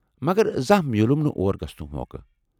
مگر زانٛہہ میوٗلُم نہٕ اور گژھنُک موقع۔